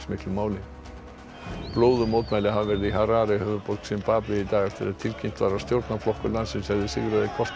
blóðug mótmæli hafa verið í Harare höfuðborg Simbave í dag eftir að tilkynnt var að stjórnarflokkur landsins hefði sigrað í kosningunum þar í fyrradag